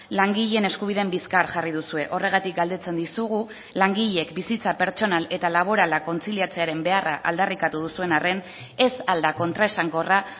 langileen eskubideen bizkar jarri duzue horregatik galdetzen dizugu langileek bizitza pertsonal eta laborala kontziliatzearen beharra aldarrikatu duzuen arren ez al da kontraesankorra